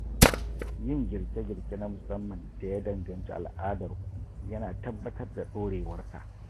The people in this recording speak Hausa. Yin girke-girke na musamman da ya danganci al’adarku ya na tabbatar da dorewarta.